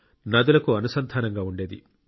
నదులకు అనుసంధానంగా ఉండేది